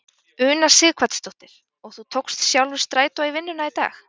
Una Sighvatsdóttir: Og þú tókst sjálfur strætó í vinnuna í dag?